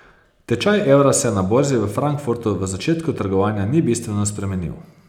Tečaj evra se na borzi v Frankfurtu v začetku trgovanja ni bistveno spremenil.